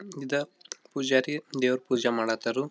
ಇದ ಪೂಜಾರಿ ದೇವ್ರ್ ಪೂಜೆ ಮಾಡಕ್ ಹತಾರು .